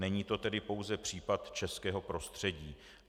Není to tedy pouze případ českého prostředí.